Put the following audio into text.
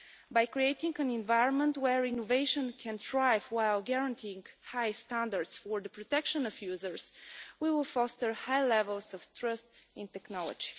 By creating an environment where innovation can thrive while guaranteeing high standards for the protection of users, we will foster high levels of trust in technology.